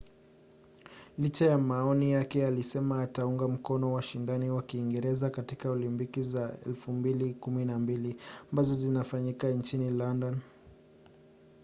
licha ya maoni yake alisema ataunga mkono washindani wa kiingereza katika olimpiki za 2012 ambazo zinafanyika nchini london